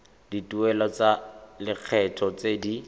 dituelo tsa lekgetho tse di